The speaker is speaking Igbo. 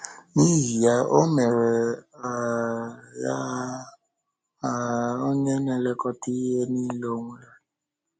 N’ihi ya, ọ mere um ya um “onye na-elekọta ihe um niile ọ nwere.”